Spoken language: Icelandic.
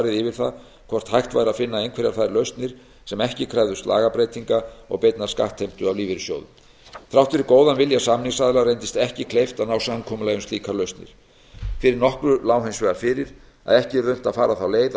yfir það hvort hægt væri að finna einhverjar þær lausnir sem ekki krefðust lagabreytingar og beinnar skattheimtu af lífeyrissjóðunum þrátt fyrir góðan vilja samningsaðila reyndist þeim ekki kleift að ná samkomulagi um slíkar lausnir fyrir nokkru lá hins vegar fyrir að ekki yrði unnt að fara þá leið að